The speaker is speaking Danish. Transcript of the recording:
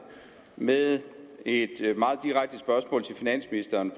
med et meget direkte spørgsmål til finansministeren